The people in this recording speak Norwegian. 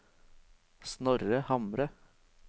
Snorre Hamre